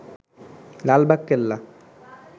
Lalbagh Qila